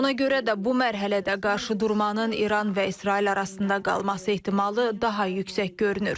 Ona görə də bu mərhələdə qarşıdurmanın İran və İsrail arasında qalması ehtimalı daha yüksək görünür.